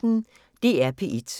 DR P1